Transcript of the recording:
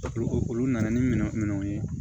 Olu olu nana ni minɛn minnu ye